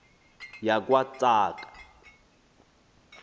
yakwatsaka